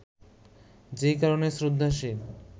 যে কারণে শ্রদ্ধাশীল